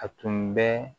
A tun bɛ